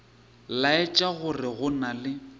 laetša gore go na le